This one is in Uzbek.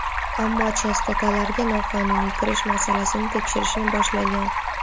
ammo chastotalarga noqonuniy kirish masalasini tekshirishni boshlagan.